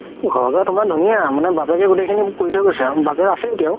ঘৰ কেইটা তুমাৰ ধুনীয়া মানে বাপেক গুতেই খিনি কৰি থই গৈছে আৰু বাপেক আছে এতিয়াও